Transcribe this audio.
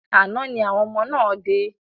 Àná ni àwọn ọmọ náà dé.